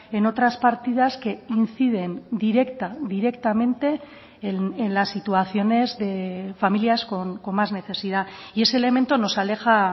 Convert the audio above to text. en otras partidas que inciden directa directamente en las situaciones de familias con más necesidad y ese elemento nos aleja